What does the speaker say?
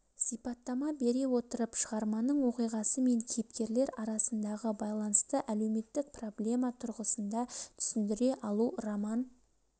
сипаттама бере отырып шығарманың оқиғасы мен кейіпкерлер арасындағы байланысты әлеуметтік проблема тұрғысында түсіндіре алу роман